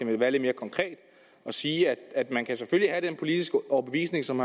ville være lidt mere konkret og sige at man kan have den politiske overbevisning som